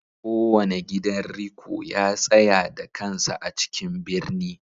Kowane gidan riko ya tsaya da kansa a cikin birni